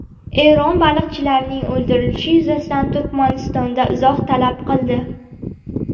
Eron baliqchilarning o‘ldirilishi yuzasidan Turkmanistondan izoh talab qildi.